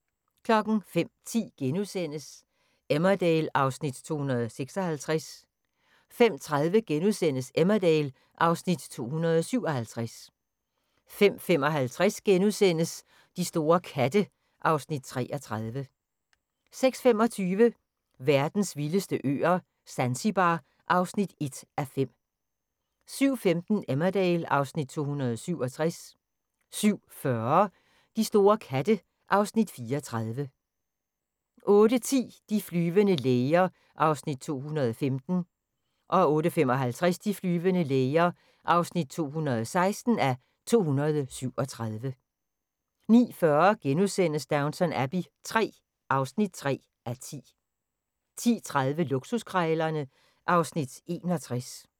05:10: Emmerdale (Afs. 256)* 05:30: Emmerdale (Afs. 257)* 05:55: De store katte (Afs. 33)* 06:25: Verdens vildeste øer - Zanzibar (1:5) 07:15: Emmerdale (Afs. 267) 07:40: De store katte (Afs. 34) 08:10: De flyvende læger (215:237) 08:55: De flyvende læger (216:237) 09:40: Downton Abbey III (3:10)* 10:30: Luksuskrejlerne (Afs. 61)